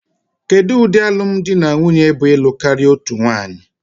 Kedu ụdị alụm di na nwunye bụ ịlụ karịa otu nwanyị?